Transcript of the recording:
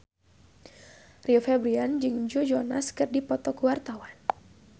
Rio Febrian jeung Joe Jonas keur dipoto ku wartawan